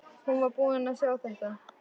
Hún var búin að sjá þetta!